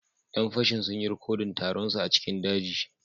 Yan fashin sun yi rikodin taron su a cikin daji